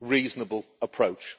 reasonable approach.